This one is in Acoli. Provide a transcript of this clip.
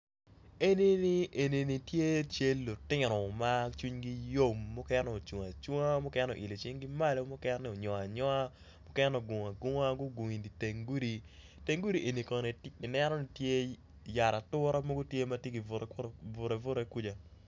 Eni ni tye cal lutino ma cwing gi yom mukene ocung acunga mukene oilo cing gi malo mukene onyongo anyonga mukene ogungo agunga gugungo idi teng gudi teng gudi eni kono ineno tye yat ature mo matye ki bute bute kuca.